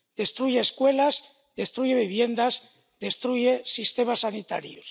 Destruye escuelas, destruye viviendas y destruye sistemas sanitarios.